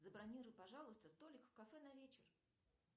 забронируй пожалуйста столик в кафе на вечер